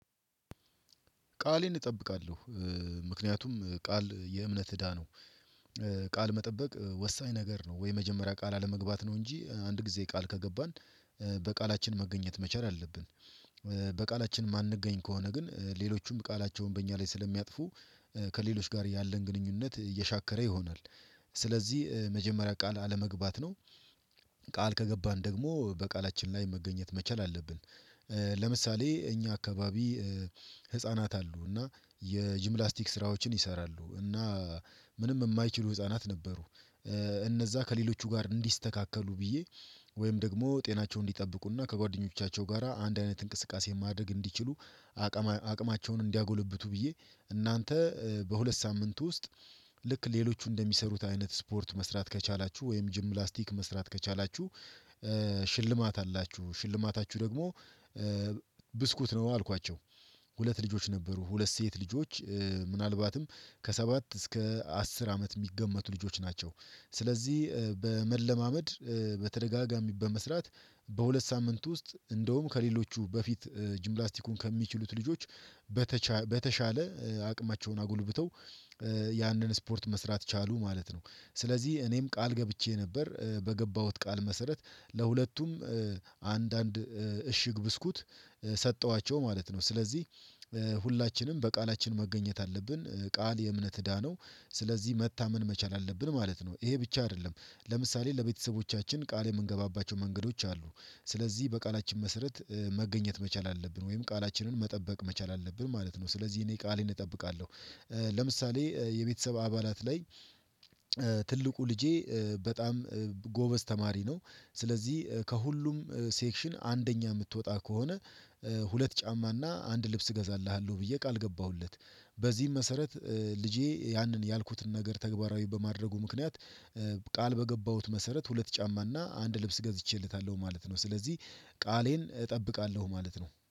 ቃሌን እጠብቃለሁ ምክንያቱም ቃል የእምነት እዳ ነው። ቃል መጠበቅ ወሳኝ ነገር ነው ወይ የመጀመሪያ ቃል አለመግባት ነው እንጂ አንድ ጊዜ ቃል ከገባን በቃላችን መገኘት መቸር አለብን። በቃላችን የማንገኝ ከሆነ ግን ሌሎቹም ቃላቸውን በእኛ ላይ ስለሚያጥፉ ከሌሎች ጋር ያለን ግንኙነት እየሻከረ ይሆናል። ስለዚህ የመጀመሪያ ቃል አለመግባት ነው። ቃል ከገባን ደግሞ በቃላችን ላይ መገኘት መቻል አለብን። ለምሳሌ እኛ አካባቢ ህፃናት አሉ እና የጅምላስቲክ ስራዎችን ይሰራሉ እና ምንም የማይችሉ ህፃናት ነበሩ። እነዛ ከሌሎቹ ጋር እንዲስተካከሉ ብዬ ወይም ደግሞ ጤናቸውን እንዲጠብቁና ከጓደኞቻቸው ጋራ አንድ አይነት እንቅስቃሴ ማድረግ እንዲችሉ። አቅማቸውን እንዲያጎለብቱ ብዬ እናንተ በሁለት ሳምንት ውስጥ ልክ ሌሎቹ እንደሚሰሩት አይነት ስፖርት መስራት ከቻላችሁ ወይም ጅምላስቲክ መስራት ከቻላችሁ። ሽልማት አላችሁ ሽልማታችሁ ደግሞ ብስኩት ነው አልኳቸው። ሁለት ልጆች ነበሩ ሁለት ሴት ልጆች ምናልባትም ከሰባት እስከ አስር አመት የሚገመቱ ልጆች ናቸው። ስለዚህ በመለማመድ በተደጋጋሚ በመስራት በሁለት ሳምንት ውስጥ እንደውም ከሌሎቹ በፊት ጂምላስቲኩን ከሚችሉት ልጆች። በተሻለ አቅማቸውን አጎልብተው ያንን ስፖርት መስራት ቻሉ ማለት ነው። ስለዚህ እኔም ቃል ገብቼ ነበር በገባሁት ቃል መሰረት ለሁለቱም አንድ አንድ እሽግ ብስኩት ሰጠኋቸው ማለት ነው። ስለዚህ ሁላችንም በቃላችን መገኘት አለብን ቃል የእምነት እዳ ነው። ስለዚህ መታመን መቻል አለብን ማለት ነው ይሄ ብቻ አይደለም። ለምሳሌ ለቤተሰቦቻችን ቃል የምንገባባቸው መንገዶች አሉ። ስለዚህ በቃላችን መሰረት መገኘት መቻል አለብን ወይም ቃላችንን መጠበቅ መቻል አለብን ማለት ነው። ስለዚህ እኔ ቃሌን እጠብቃለሁ። ለምሳሌ የቤተሰብ አባላት ላይ ትልቁ ልጄ በጣም ጎበዝ ተማሪ ነው። ስለዚህ ከሁሉም ሴክሽን አንደኛ የምትወጣ ከሆነ ሁለት ጫማና አንድ ልብስ እገዛልሃለሁ ብዬ ቃል ገባሁለት። በዚህም መሰረት ልጄ ያንን ያልኩትን ነገር ተግባራዊ በማድረጉ ምክንያት ቃል በገባሁት መሰረት ሁለት ጫማና አንድ ልብስ ገዝቼለታለሁ ማለት ነው። ስለዚህ ቃሌን እጠብቃለሁ ማለት ነው